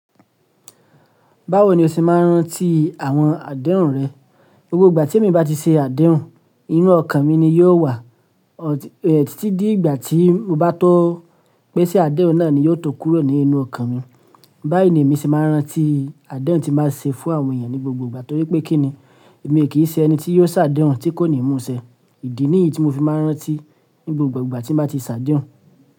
Báwo ni o ṣe máa ń rántí àwọn àdéhùn rẹ? Gbogbo ìgbà temi bá ti ṣe àdéhùn, inú ọkàn mi ni yóò wà, ot e, títí dígbà tí mo bá tó pé ṣàdéhùn náà ni yóò tó kúrò ní inú ọkàn mi. Báyi ní emi ṣe máa ń rántí àdéhùn tí n ba ṣe fún àwọn èèyàn ní gbogbo ìgbà torí pé kíni? Èmi e kì í ṣẹni tí yóò ṣàdéhùn tí kò ní mú ṣẹ. Idí nì yí tí mo fi máa ń rántí ní gbogbo ìgbà tí n bá ti ṣàdéhùn.